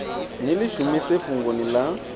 ni ḽi shumise fhungoni ḽaṋu